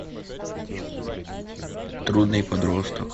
трудный подросток